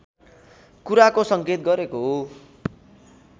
कुराको संकेत गरेको